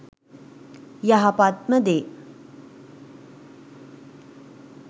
යහපත්ම දේ